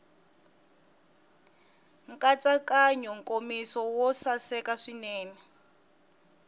nkatsakanyo nkomiso wo saseka swinene